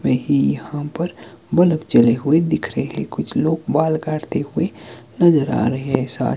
में ही यहां पर बलफ जले हुए दिख रहे है कुछ लोग वॉल काटते हुए नजर आ रहे हैं सा--